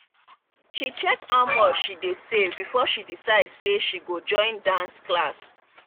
she check how much she don save before she decide say she go join dance class.